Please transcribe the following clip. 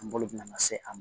Kungolo bina se a ma